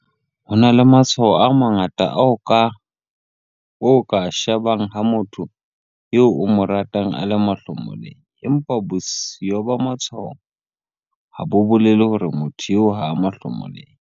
Ho na le matshwao a mangata ao o ka a shebang ha motho eo o mo ratang a le mahlomoleng, empa bosio ba matshwao ha bo bolele hore motho eo ha a mahlomoleng.